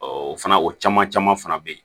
o fana o caman caman fana bɛ yen